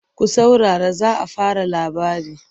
Ku saurara za a fara labari!